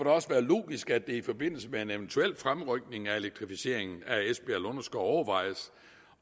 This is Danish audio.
også være logisk at det i forbindelse med en eventuel fremrykning af elektrificeringen af esbjerg lunderskov overvejes